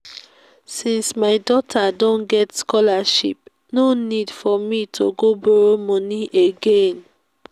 since my daughter don get scholarship no need for me to go borrow money again